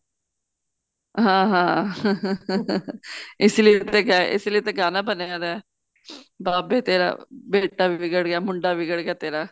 ਹਾਂ ਹਾਂ ਇਸ ਲਈ ਤੇ ਗਾਣਾ ਬਣਿਆ ਉਹਦਾ ਬਾਬੇ ਤੇਰਾ ਬੇਟਾ ਵਿਗੜ ਗਿਆ ਮੁੰਡਾ ਵਿਗੜ ਗਿਆ ਤੇਰਾ